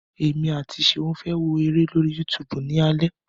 Èmi àti Ṣeun fẹ́ wo eré lórí YouTube ni alẹ́.